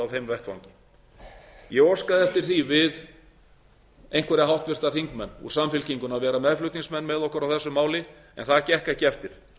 þeim vettvangi ég óska eftir því við einhverja háttvirtir þingmenn úr samfylkingunni að vera meðflutningsmenn með okkur á þessu máli en það gekk ekki eftir